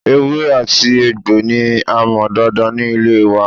Ewé àti egbò ní a mọ̀ dáadáa ní ilẹ̀ wa